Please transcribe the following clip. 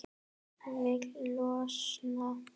Vil losna.